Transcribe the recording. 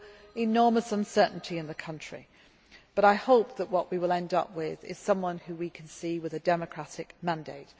Sunday. So there is enormous uncertainty in the country, but I hope that what we will end up with is someone whom we can see has a democratic mandate.